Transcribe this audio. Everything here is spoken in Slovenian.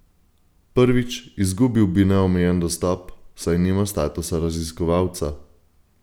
Prvič, izgubil bi neomejen dostop, saj nima statusa raziskovalca.